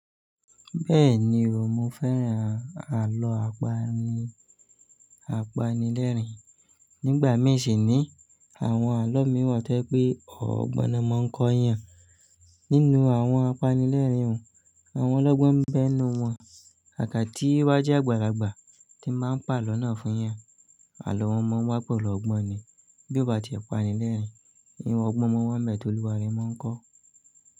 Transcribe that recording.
Bẹ́ẹ̀ni, mo fẹ́ran àlọ́ apanilẹ́rìn. Nígbà míì sì ní àwọn àlọ́ mìn wa to yé ọ̀ọ́gbọ́n na maa ń kọ yàn. Nínú àwọn apanilẹ́rìn ọun, àwọn ọlọ́gbọ́n ń bẹ n nu wọn. Kaká tí o bá jẹ́ àgbàlagbà tí ń bàa n palọ́ náà fún yàn. Àlọ́ wọn mọ́ wá pelu ọgbọ́n ni. Bí ó bá tie apanilẹ́rìn-ín, iru ọgbọ́n mo n wa nibe ti ọ́lúwarẹ̀ máa ń kọ́.